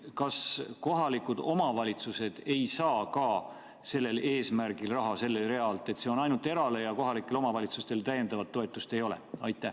Kas kohalikud omavalitsused ei saa ka sellel eesmärgil raha sellelt realt, et see on ainult eraettevõtjatele ja kohalikele omavalitsustele täiendavat toetust ei ole?